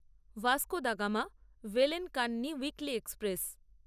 Vasco da Gama ভেলেন করনি weekly express